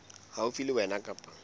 haufi le wena kapa ba